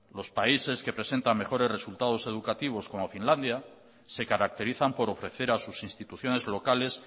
los países que presentan mejores resultados educativos como finlandia se caracterizan por ofrecer a sus instituciones locales